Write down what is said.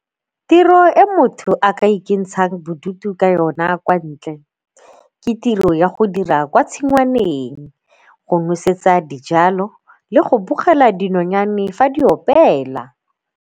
Tiro e motho a ka ikentshang bodutu ka yona kwa ntle ke tiro ya go dira kwa tshingwaneng, go nosetsa dijalo le go bogela dinonyane fa di opela.